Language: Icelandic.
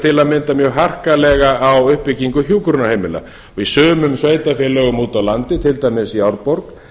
til að mynda mjög harkalega á uppbyggingu hjúkrunarheimila í sumum sveitarfélögum úti á landi til dæmis í árborg